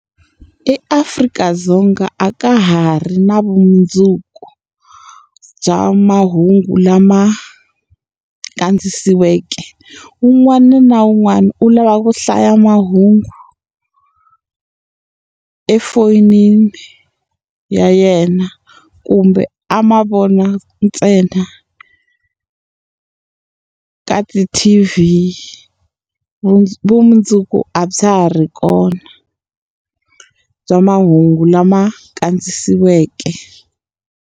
EAfrika-Dzonga a ka ha ri na vumundzuku bya mahungu lama kandziyisiweke. Wun'wana na wun'wana u lava ku hlaya mahungu efonini ya yena kumbe a ma vona ntsena ka ti-T_V. Vu vumundzuku a bya ha ri kona, bya mahungu lama kandziyisiweke.